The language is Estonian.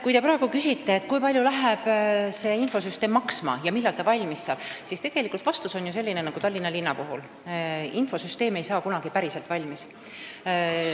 Kui te küsite, kui palju see infosüsteem maksma läheb ja millal ta valmis saab, siis vastus on selline nagu Tallinna linna puhul – infosüsteem ei saa kunagi päris valmis.